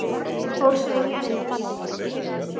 Fór svo inn í eldhús.